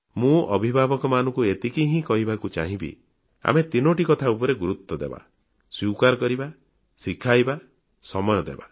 ମୁଁ ଅଭିଭାବକମାନଙ୍କୁ ଏତିକି ହିଁ କହିବାକୁ ଚାହିଁବି ଆମେ ତିନୋଟି କଥା ଉପରେ ଗୁରୁତ୍ୱ ଦେବା ସ୍ୱୀକାର କରିବା ଶିଖାଇବା ସମୟ ଦେବା